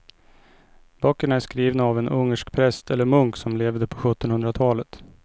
Böckerna är skrivna av en ungersk präst eller munk som levde på sjuttonhundratalet.